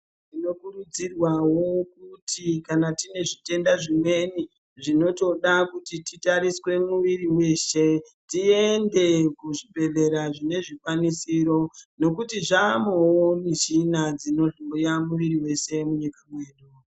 Tinokurudzirwawo kuti kana tine zvitenda zvimweni zvinotoda kuti titariswe muwiri mweshe, tiende kuzvibhedhlera zvine zvikwanisiro nokuti zvaamowo mishina dzinohloya muwiri mese munyika ino.